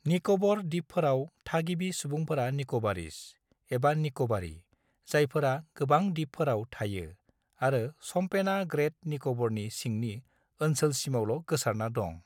निक'बर द्वीपफोराव, थागिबि सुबुंफोरा निक'बारीस, एबा निक'बारी, जायफोरा गोबां द्वीपफोराव थायो, आरो शम्पेना ग्रेट निक'बरनि सिंनि ओनसोलसिमावल' गोसारना दं।